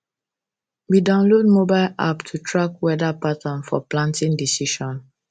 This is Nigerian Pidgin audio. we download mobile app to track weather pattern for planting decision